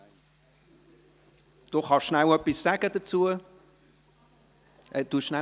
Jordi kann kurz etwas dazu sagen.